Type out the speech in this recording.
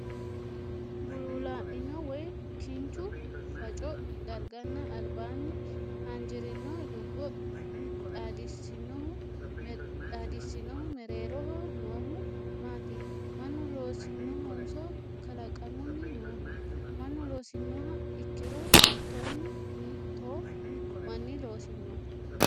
Buluulaa'mino woy kinchu faffaco darganna albaanni haanjirino dubbo xaadisinohu mereeroho noohu maati? Mannu loosinohonso kalaqammunni nooho? Mannu loosinoha ikkiro hiitoonni hiittoo manni loosino?